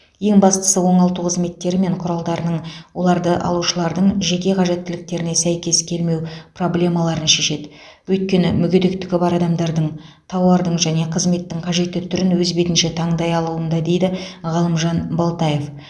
ең бастысы оңалту қызметтері мен құралдарының оларды алушылардың жеке қажеттіліктеріне сәйкес келмеу проблемаларын шешеді өйткені мүгедектігі бар адамдардың тауардың және қызметтің қажетті түрін өз бетінше таңдай алуында дейді ғалымжан балтаев